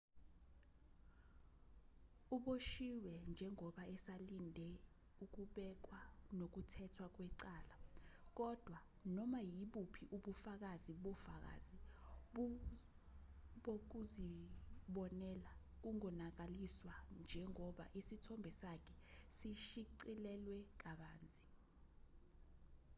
uboshiwe njengoba esalinde ukubekwa nokuthethwa kwecala kodwa noma ibuphi ubufakazi bofakazi bokuzibonela bungonakaliswa njengoba isithombe sakhe sishicilelwe kabanzi